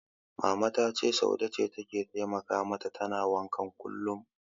Mama ta ce Saude ce take taimaka mata tana wankan kullum.